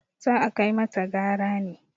za a kai mata gara ne!